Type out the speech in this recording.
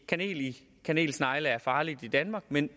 kanel i kanelsnegle er farligt i danmark men